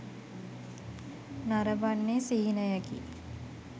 නරඹන්නේ සිහිනයකි